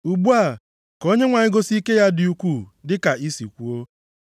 “Ugbu a ka Onyenwe anyị gosi ike ya dị ukwuu, dịka i si kwuo.